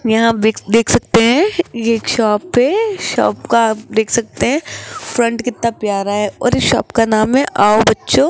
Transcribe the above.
यहां देख सकते हैं ये एक शॉप है शॉप का आप देख सकते हैं फ्रंट कितना प्यारा है और इस शॉप का नाम है आओ बच्चों --